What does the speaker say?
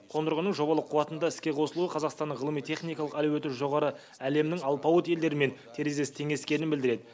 қондырғының жобалық қуатында іске қосылуы қазақстанның ғылыми техникалық әлеуеті жоғары әлемнің алпауыт елдерімен терезесі теңескенін білдіреді